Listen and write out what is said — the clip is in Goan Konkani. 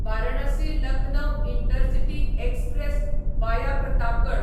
Varanasi Lucknow intercity express via Pratapgad